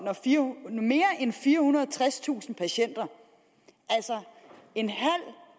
mere end firehundrede og tredstusind patienter altså en halv